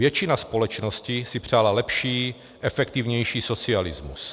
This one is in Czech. Většina společnosti si přála lepší, efektivnější socialismus.